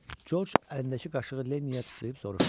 Corc əlindəki qaşığı Lenniyə tuşlayıb soruşdu.